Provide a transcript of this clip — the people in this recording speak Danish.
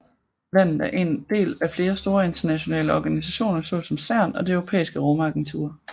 Landet er en del af flere store internationale organisationer såsom CERN og det Europæiske Rumagentur